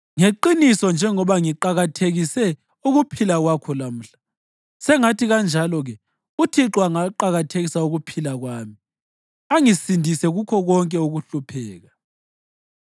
Ngeqiniso njengoba ngiqakathekise ukuphila kwakho lamhla, sengathi kanjalo-ke uThixo angaqakathekisa ukuphila kwami angisindise kukho konke ukuhlupheka.”